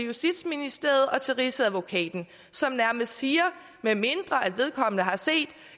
justitsministeriet og til rigsadvokaten som nærmest siger at medmindre vedkommende har set